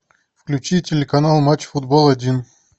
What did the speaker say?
включи телеканал матч футбол один